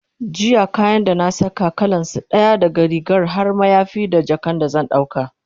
jiya kayan da na Saka, kalansu ɗaya, daga rigar har mayafi da jakan da zan dauka